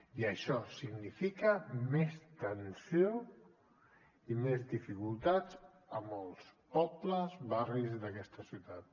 i això significa més tensió i més dificultats a molts pobles barris d’aquesta ciutat